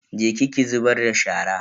Je ki ki zubar da shara.